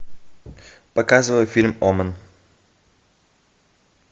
показывай фильм омен